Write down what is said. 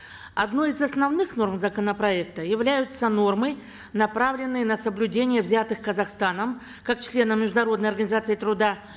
одной из основных норм законопроекта являются нормы направленные на соблюдение взятых казахстаном как члена международной организации труда